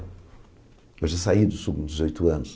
Eu já saí dos dezoito anos.